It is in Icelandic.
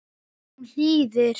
Hún hlýðir.